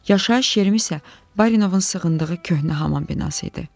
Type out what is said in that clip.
Yaşayış yerim isə Barinovun sığındığı köhnə hamam binası idi.